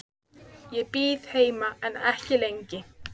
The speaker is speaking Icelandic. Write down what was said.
Ég bíð heima en ekki lengi.